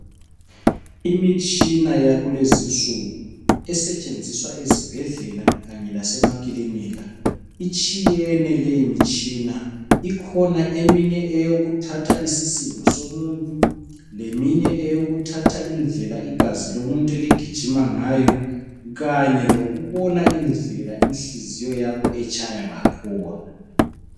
Imitshina yakulezinsuku esetshenziswa ezibhedlela kanye lasemakilinika. Itshiyene leyimitshina, ikhona eminye eyokuthatha isisindo somuntu, leminye eyokuthatha indlela igazi lomuntu eligijima ngayo kanye lokubona indlela inhliziyo yakho etshaya ngakhona.